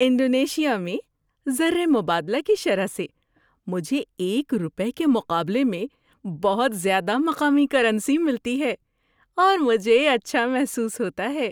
Indonesia میں زر مبادلہ کی شرح سے مجھے ایک روپے کے مقابلے میں بہت زیادہ مقامی کرنسی ملتی ہے اور مجھے اچھا محسوس ہوتا ہے۔